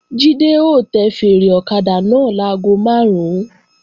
Jídé ó tẹ fèèrè ọ̀kadà náà láago máàrún